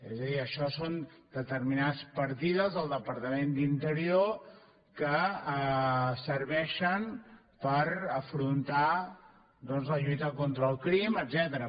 és a dir això són determinades partides del departament d’interior que serveixen per afrontar doncs la lluita contra el crim etcètera